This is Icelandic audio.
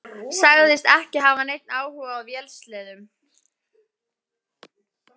Sagðist ekki hafa neinn áhuga á vélsleðum.